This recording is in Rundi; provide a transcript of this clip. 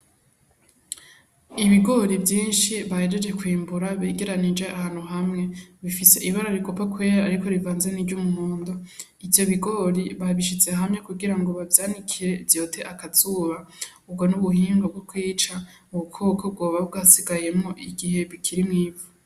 Ibigori vyinshi bahejeje kwimbura begeranirije ahantu hamwe bifise ibara rigomba kwera ariko rivanze n'iry'umuhondo. Ivyo bigori babishize hamwe kugirango bavyanikire vyote akazuba, ubwo n'ubuhinga bwokwica ubukoko bwoba bwasigayemwo igihe bikiri mw'ivu.